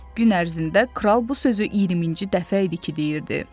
Gün ərzində kral bu sözü 20-ci dəfə idi ki, deyirdi.